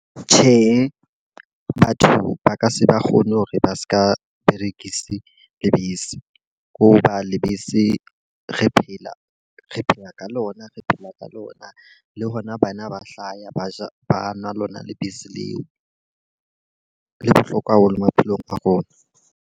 Tjhe, batho ba ka se ba kgone hore ba seka berekise lebese. Ho ba lebese re phela re phela ka lona. Re phela ka lona le hona bana ba hlaya ba ja, ba nwa lona lebese leo. Le bohlokwa haholo maphelong a rona.